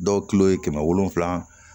Dɔw kilo ye kɛmɛ wolonfila